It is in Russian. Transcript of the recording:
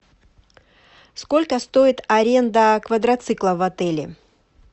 сколько стоит аренда квадрацикла в отеле